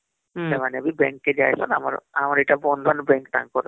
ହଁ ସେମାନେ ବି bank କେ ଯାଏ ସନ ଆମର ଏଟା ବନ୍ଧନ bank ଟା ୟାଙ୍କର